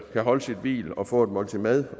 kan holde sit hvil og få et måltid mad